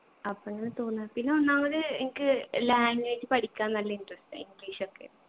അപ്പൊ അങ്ങനെ തോന്നാ പിന്നെ ഒന്നാമത് എനിക്ക് language പഠിക്കാൻ നല്ല interest ആ english ഒക്കെ